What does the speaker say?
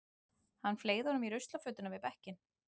Hann fleygði honum í ruslafötuna við bekkinn.